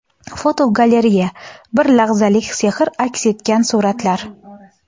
Fotogalereya: Bir lahzalik sehr aks etgan suratlar.